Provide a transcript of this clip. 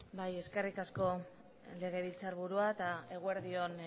eskerrik asko legebiltzarburu andrea eta eguerdi on